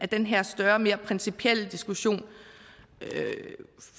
den her større og mere principielle diskussion